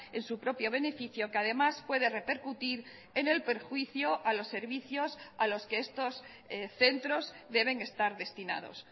en su propio beneficio que además puede repercutir en el perjuicio a los servicios a los que estos centros deben estar destinados